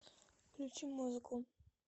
включи музыку